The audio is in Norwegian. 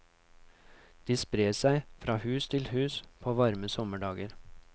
De sprer seg fra hus til hus på varme sommerdager.